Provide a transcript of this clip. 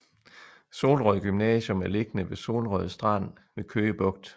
Solrød Gymnasium er beliggende i Solrød Strand ved Køge Bugt